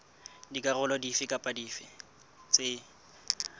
dikarolo dife kapa dife tse